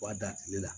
B'a dan tile la